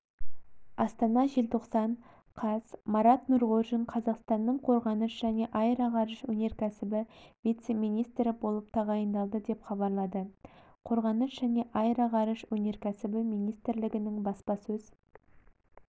астана желтоқсан қаз марат нұрғожин қазақстанның қорғаныс және аэроғарыш өнеркәсібі вице-министрі болып тағайындалды деп хабарлады қорғаныс және аэроғарыш өнеркәсібі министрлігінің баспасөз